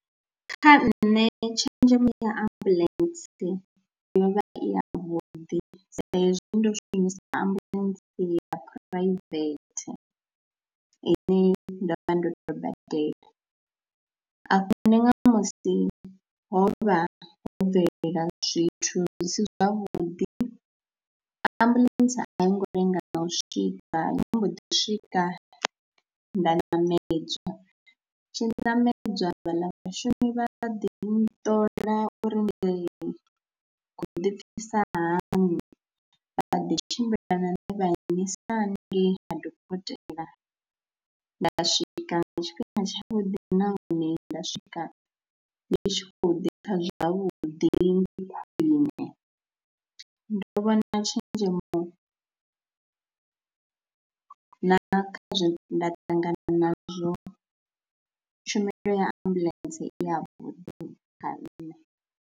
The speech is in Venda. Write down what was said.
Kha nṋe tshenzhemo ya ambuḽentse yo vha i yavhuḓi sa hezwi ndo shumisa ambuḽentse ya phuraivethe ine nda vha ndo tou badela, a hu na nga musi ho vha ho bvelela zwithu zwi si zwavhuḓi ambuḽentse a i ngo lenga u swika ndi mbo ḓi swika nda ṋamedzwa, ndi tshi ṋamedza fhaḽa vhashumi vha ḓi nṱoḓa uri ndi khou ḓipfhisa hani, vha ḓi tshimbila na nṋe vha nnyisa haningei ha dokotela, nda swika nga tshifhinga tshavhuḓi nahone nda swika ndi tshi khou ḓipfha zwavhuḓi. Ndi khwine, ndo vhona tshenzhemo na kha zwe nda ṱangana nazwo tshumelo ya ambuḽentse i yavhuḓi kha nṋe.